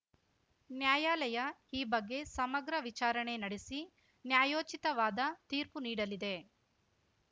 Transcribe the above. ನ್ಯಾಯಾಲಯ ಈ ಬಗ್ಗೆ ಸಮಗ್ರ ವಿಚಾರಣೆ ನಡೆಸಿ ನ್ಯಾಯೋಚಿತವಾದ ತೀರ್ಪು ನೀಡಲಿದೆ